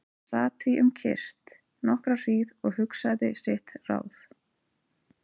Hann sat því um kyrrt nokkra hríð og hugsaði sitt ráð.